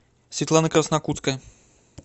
светлана краснокутская